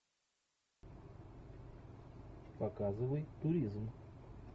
показывай туризм